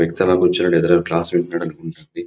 వ్యక్తి అలా కూర్చుని ఎదురు క్లాస్ వింటున్నడు అనిపించింది.